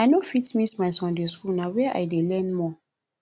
i no fit miss my sunday school na where i dey learn more